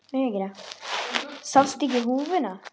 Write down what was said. Sástu ekki húfuna?